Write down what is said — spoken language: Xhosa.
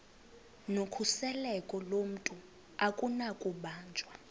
nokhuseleko lomntu akunakubanjwa